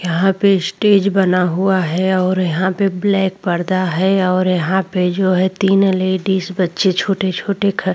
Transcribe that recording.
यहाँ पे स्टेज बना हुआ है और यहाँ पे ब्लैक पर्दा है और यहाँ पे जो है तीन लेडीज़ बच्चे छोटे- छोटे ख --